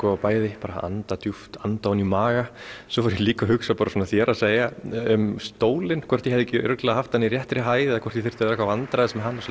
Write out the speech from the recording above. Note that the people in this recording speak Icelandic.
bæði að anda djúpt anda ofan í maga svo fór ég líka að hugsa bara svona þér að segja um stólinn hvort ég hefði ekki örugglega haft hann í réttri hæð eða hvort ég þyrfti eitthvað vandræðast með hann